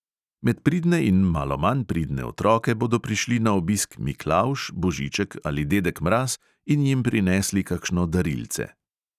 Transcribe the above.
Med pridne in malo manj pridne otroke bodo prišli na obisk miklavž, božiček ali dedek mraz in jim prinesli kakšno darilce.